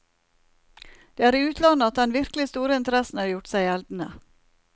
Det er i utlandet at den virkelig store interessen har gjort seg gjeldende.